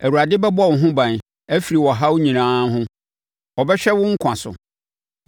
Awurade bɛbɔ wo ho ban afiri ɔhaw nyinaa ho, ɔbɛhwɛ wo nkwa so;